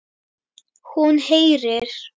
Hún heyrir.